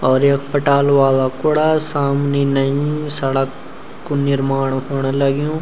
और यख पटाल वाला कुडा सामनी नई सड़क कु निर्माण हूण लग्यूं।